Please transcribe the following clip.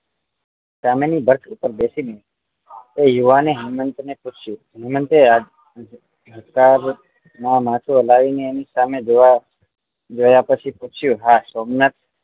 સામે ની બસ ઉપર બેસીને એ યુવાન એ હેમંત ને પૂછ્યું હેમંત એ ગુસ્સા માં માથું હલાવી ને એની સામે જોવા જોવા પછી પૂછ્યું આ સોમનાથ